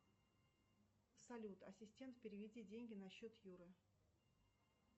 салют ассистент переведи деньги на счет юры